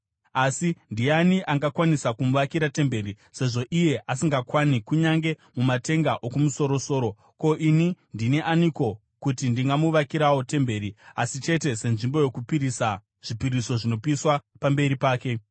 Asi ndiani angakwanisa kumuvakira temberi, sezvo iye asingakwani kunyange mumatenga okumusoro-soro? Ko, ini ndini aniko kuti ndingamuvakirawo temberi asi chete senzvimbo yokupisira zvipiriso zvinopiswa pamberi pake?